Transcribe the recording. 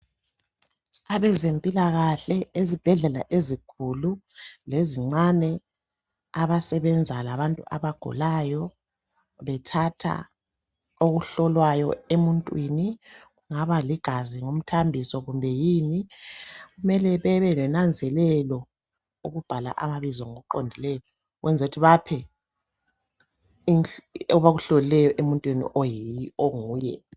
Abezempilakahle ezibhedlela ezinkulu lezincane abasebenza labantu abagulayo bethatha okuhlolwayo emuntwini kungaba ligazi ngumthambiso kumbe yini kumele bebelonanzelelo ukubhala amabizo ngokuqondileyo ukwenzela ukuthi baphe abakuhlolileyo emuntwini onguye.